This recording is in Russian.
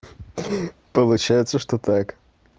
получается что так